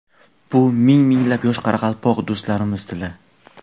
Bu ming-minglab yosh qoraqalpoq do‘stlarimiz tili!.